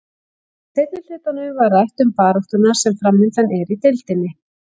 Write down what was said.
Í seinni hlutanum var rætt um baráttuna sem framundan er í deildinni.